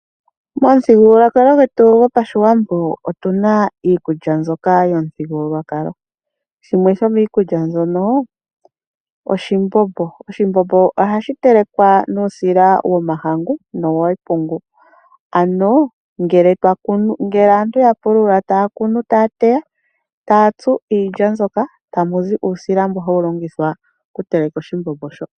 Momuthigululwakalo gwetu goPashiwambo omu na iikulya mbyoka yopamuthigululwakalo. Shimwe shomiikulya mbyono oshimbombo. Oshimbombo ohashi telekwa nuusila womahangu nowepungu. Ano, ngele aantu ya pulula, taya kunu, taya teya, taya tsu iilya mbyoka tamu zi uusila mboka hawu longithwa okuteleka oshimbombo shoka.